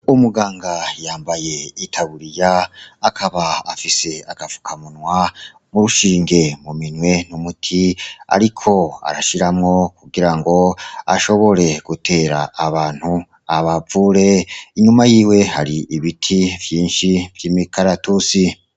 Umuganga yambaye itaburiya, akaba afise agapfukamunwa n'urushinge mu minwe, n'umuti ariko arashiramwo kugira ngo ashobore gutera abantu, abavure. Inyuma yiwe hari ibiti vyinshi vy'imikaratusi.